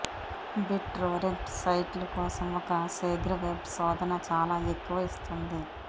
bit Torrent సైట్లు కోసం ఒక శీఘ్ర వెబ్ శోధన చాలా ఎక్కువ ఇస్తుంది